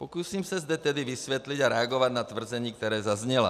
Pokusím se zde tedy vysvětlit a reagovat na tvrzení, která zazněla.